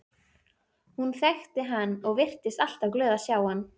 Hún þekkti hann og virtist alltaf glöð að sjá hann.